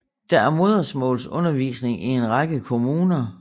Der er modersmålsundervisning i en række kommuner